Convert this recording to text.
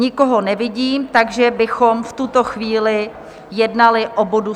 Nikoho nevidím, takže bychom v tuto chvíli jednali o bodu